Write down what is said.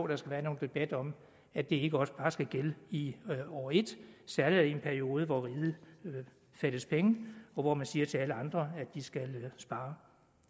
der skal være nogen debat om at det ikke også bare skal gælde i år et særlig da i en periode hvor riget fattes penge og hvor man siger til alle andre at de skal spare